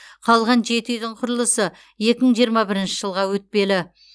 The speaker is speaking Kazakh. қалған жеті үйдің құрылысы екі мың жиырма бірінші жылға өтпелі